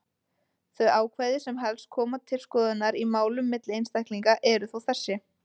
Þau ákvæði sem helst koma til skoðunar í málum milli einstaklinga eru þó þessi: